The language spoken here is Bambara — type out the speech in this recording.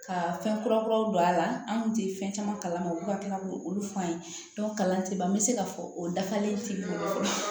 Ka fɛn kura kuraw don a la an kun tɛ fɛn caman kalama olu ka k'olu f'an ye kalan tɛ ban n bɛ se k'a fɔ o dafalen tɛ